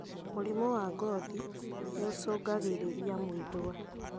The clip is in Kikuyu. Mũrimũ wa ngothi nĩũcũngagĩrĩria mwĩthũa